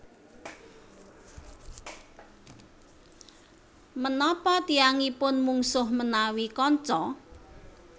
Menapa tiyangipun mungsuh menawi kanca